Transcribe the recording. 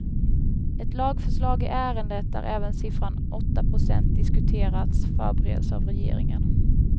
Ett lagförslag i ärendet där även siffran åtta procent diskuterats förbereds av regeringen.